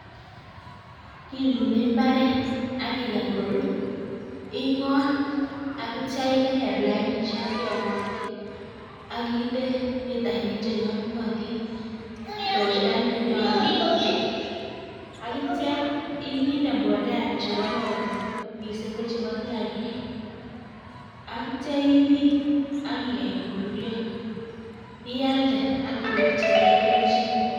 Kilule mbaret, akikany korur, ing'ot akitcha igerer lainisiek cheamatin, akinde mitainik chenyolunotin nenyolu akitcha inde mbolea chekororon, miising' kochebo kiagik akitcha ibit akikeny koruryo, ialde akinyorchigei kelchin